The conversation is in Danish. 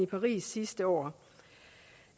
paris sidste år det